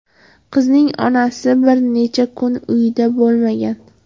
Qizning onasi bir necha kun uyida bo‘lmagan.